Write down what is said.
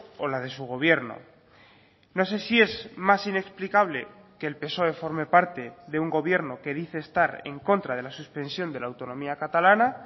o la de su gobierno no sé si es más inexplicable que el psoe forme parte de un gobierno que dice estar en contra de la suspensión de la autonomía catalana